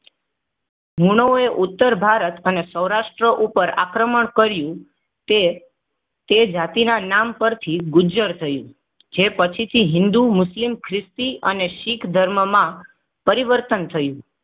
મૂનોએ ઉત્તર ભારત અને સૌરાષ્ટ્ર ઉપર આક્રમણ કર્યુ તે તે જાતિના નામ પરથી ગુજજર થયું. જે પછીથી હિંદુ મુસ્લિમ ખ્રિસ્તી અને શીખ ધર્મમાં પરિવર્તન થયું.